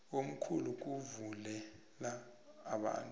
omkhulu kuvulela abantu